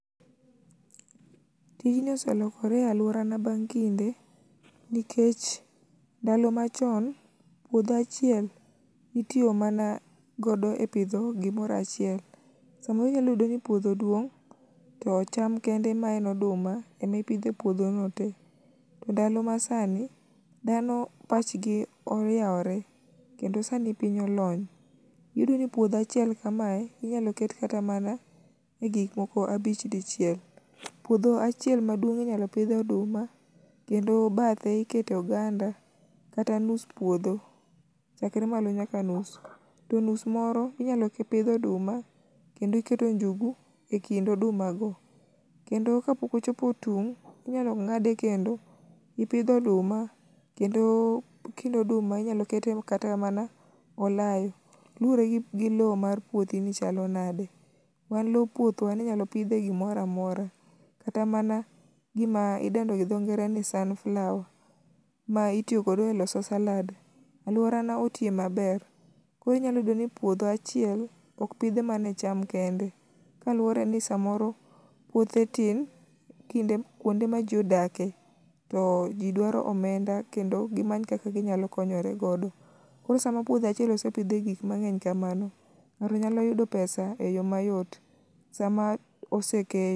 Tijni oselokore e alworana bang' kinde nikech ndalo machon puodho achiel itiyo mana godo epidho gimoro achiel. Samoro inyalo yudo ni puodho duong',to cham kende ma en oduma emipidho e puodhono te. Ndalo masani, dhano pachgi oyawre, kendo sani piny olony. Iyudo ni puodho achiel kama, inyalo ket kata mana i gik moko abich dichiel. Puodho achiel maduong' inyalo pidhe oduma, kendo bathe ikete oganda kata nus puodho, chakre malo nyaka nus, to nus moro inyalo pidh oduma ,kendo keto njugu e kind oduma go. Kendo kapok ochopo tung',inyalo ng'ade kendo ipidho oduma kendo kind oduma inyalo kete kata mana olayo. Luwore gi lowo mar puothi nichalo nade, wan lop puothwa ninyalo pidhe gimoro amora, kata mana gima idendo gi dhongere ni sunflower ma itiyo godo e loso salad. Alwona otie maber, koro inyalo yudo ni puotha achiel, opidhe mana i cham kende kaluore ni samoro puothe tin, kwonde ma ji odakie, to ji dwaro omenda kendo gimany kaka ginyalo konyore godo. Koro sama puodho achiel osepidhie gik mang'eny kamano, ng'ato nyalo yudo pesa e yo mayot, sama oseket.